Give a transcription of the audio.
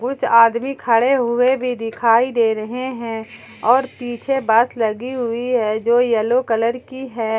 कुछ आदमी खड़े हुए भी दिखाई दे रहे हैं और पीछे बस लगी हुई है जो येलो कलर की है।